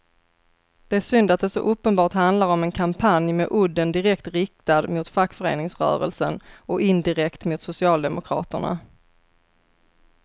Det är synd att det så uppenbart handlar om en kampanj med udden direkt riktad mot fackföreningsrörelsen och indirekt mot socialdemokraterna.